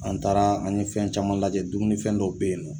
An taara an ye fɛn caman lajɛ dumunifɛn dɔw bɛ yen nɔ